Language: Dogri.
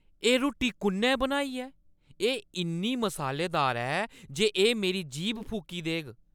एह् रुट्टी कु'न्नै बनाई ऐ? एह् इन्नी मसालेदार ऐ जे एह् मेरी जीह्‌ब फूकी देग।